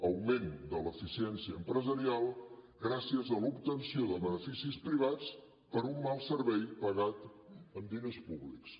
augment de l’eficiència empresarial gràcies a l’obtenció de beneficis privats per un mal servei pagat amb diners públics